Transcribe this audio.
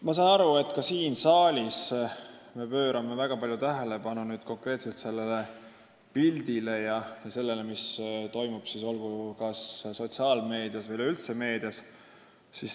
Ma saan aru, et me ka siin saalis pöörame väga palju tähelepanu konkreetselt pildile ja sellele, mis toimub kas sotsiaalmeedias või üleüldse meedias.